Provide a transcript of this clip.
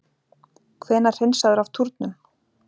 Hvenær hreinsaður af túnum?